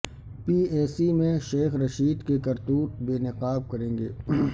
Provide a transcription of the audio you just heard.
P A C میں شیخ رشید کے کرتوت بے نقاب کریں گ